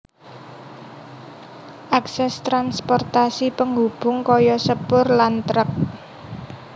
Akses transportasi penghubung kaya sepur lan truk